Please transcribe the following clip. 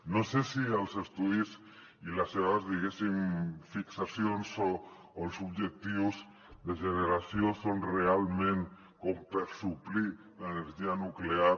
no sé si els estudis i les seves diguéssim fixacions o els objectius de generació són realment com per suplir l’energia nuclear